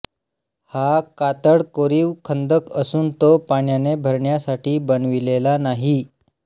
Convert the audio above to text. हा कातळकोरीव खंदक असून तो पाण्याने भरण्यासाठी बनविलेला नाही